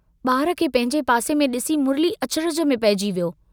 बार खे पंहिंजे पासे में डिसी मुरली अचरज में पइजी वियो।